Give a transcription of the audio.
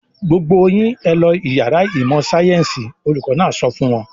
"Gbogbo yín ẹ lọ ìyàrá ìmọ̀-sáyẹ́ńsì! Olùkọ́ náà sọ fún wọn.